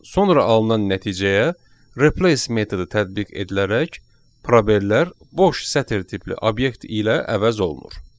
Sonra alınan nəticəyə replace metodu tətbiq edilərək proberlər boş sətir tipli obyekt ilə əvəz olunur.